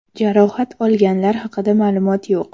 Jarohat olganlar haqida ma’lumot yo‘q.